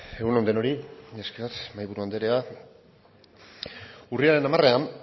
egun on denoi mila esker mahaiburu andrea urriaren hamarean